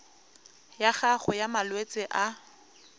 ya gago ya malwetse a